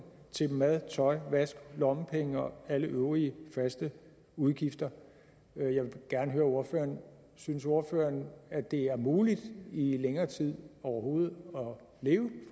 til mad tøj vask lommepenge og alle øvrige faste udgifter jeg vil gerne høre ordføreren synes ordføreren at det er muligt i længere tid overhovedet at leve